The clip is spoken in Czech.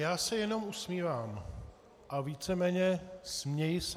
Já se jenom usmívám a víceméně směji se.